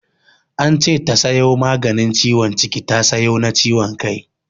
Ance ta sayo maganin ciwon ciki ta sayo na ciwon kai.